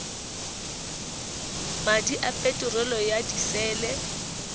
madi a peterolo ya disele